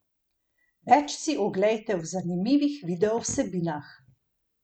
Več si oglejte v zanimivih video vsebinah!